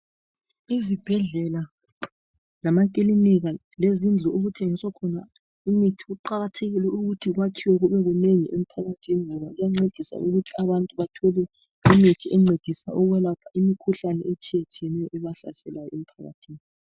Izibhedlela lamakilinika lezindlu okuthengiswa khona imithi, kuqakathekile ukuthi kwakhiwe kubekunengi emphakathini, ngoba kuyancedisa ukuthi abantu bathole imithi encedisa ukwelapha imikhuhlane etshiyetshiyeneyo ebahlasela emphakathini.